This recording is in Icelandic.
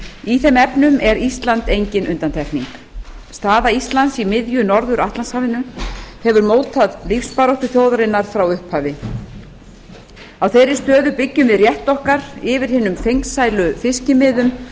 í þeim efnum er ísland engin undantekning staða íslands í miðju norður atlantshafinu hefur mótað lífsbaráttu þjóðarinnar frá upphafi á þeirri stöðu byggjum við rétt okkar yfir hinum fengsælu fiskimiðum